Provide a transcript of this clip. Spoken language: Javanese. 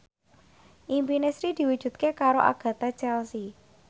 impine Sri diwujudke karo Agatha Chelsea